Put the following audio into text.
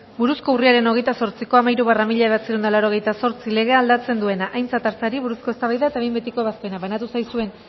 buruzko urriaren hogeita zortziko hamairu barra mila bederatziehun eta laurogeita zortzi legea aldatzen duena aintzat hartzeari buruzko eztabaida eta behin betiko ebazpena banatu zaizuen